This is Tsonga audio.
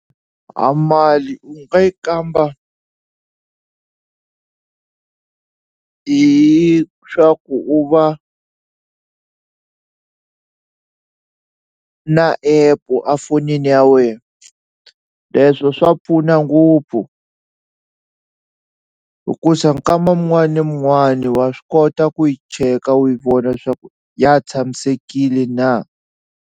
A mali u nga yi kamba hi swa ku u va na app-u efonini ya wena leswo swa pfuna ngopfu hikusa nkama mun'wani ni mun'wani wa swi kota ku yi cheka u yi vona leswaku ya tshamisekile na.